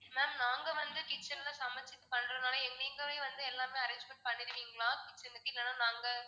ma'am நாங்க வந்து kitchen ல சமைச்சு பண்றதுனால எங்~ நீங்களே வந்து எல்லாமே arrangements பண்ணிடுவீங்களா kitchen க்கு? இல்லன்னா நாங்க